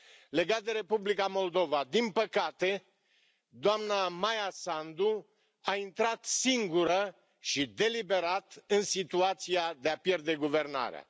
Legat de Republica Moldova, din păcate doamna Maia Sandu a intrat singură și deliberat în situația de a pierde guvernarea.